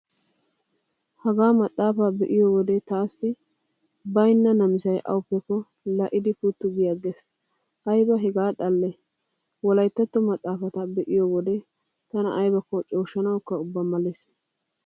Hagaa maxaafaa be'iyo wode taassi baynna namisay awappekko lal"iiddi puttu gi aggees. Ayba hegaa xalle wolayttatto maxaafata be'iyo wode tana aybakko cooshshanawukka ubba malees.